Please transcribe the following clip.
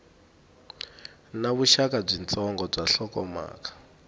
na vuxaka byitsongo na nhlokomhaka